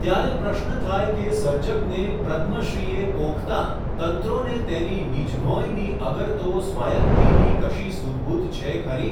ત્યારે પ્રશ્ન થાય કે, સર્જકને પ્રદ્મશ્રીએ પોખતાં તંત્રોને તેની નિજભોંયની અગર તો સ્વાયત્તિની કશી સુધબુધ છે ખરી ?.